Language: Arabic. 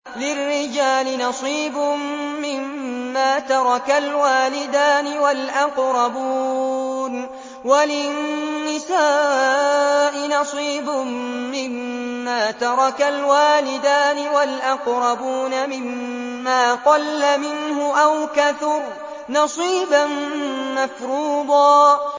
لِّلرِّجَالِ نَصِيبٌ مِّمَّا تَرَكَ الْوَالِدَانِ وَالْأَقْرَبُونَ وَلِلنِّسَاءِ نَصِيبٌ مِّمَّا تَرَكَ الْوَالِدَانِ وَالْأَقْرَبُونَ مِمَّا قَلَّ مِنْهُ أَوْ كَثُرَ ۚ نَصِيبًا مَّفْرُوضًا